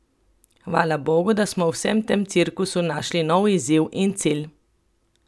Hvala bogu, da smo v vsem tem cirkusu našli nov izziv in cilj!